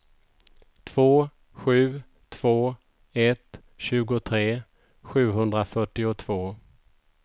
två sju två ett tjugotre sjuhundrafyrtiotvå